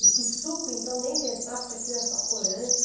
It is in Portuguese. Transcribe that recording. E que suco, então, nem pensar, porque aquilo era só corante.